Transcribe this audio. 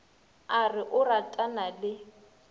a re o ratana le